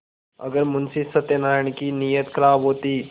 अगर मुंशी सत्यनाराण की नीयत खराब होती